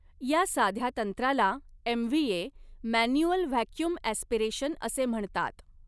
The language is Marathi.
या साध्या तंत्राला एमव्हीए मॅन्युअल व्हॅक्युम ऍस्पिरेशन असे म्हणतात.